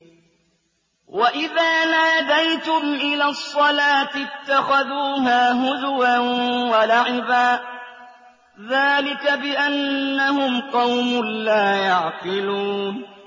وَإِذَا نَادَيْتُمْ إِلَى الصَّلَاةِ اتَّخَذُوهَا هُزُوًا وَلَعِبًا ۚ ذَٰلِكَ بِأَنَّهُمْ قَوْمٌ لَّا يَعْقِلُونَ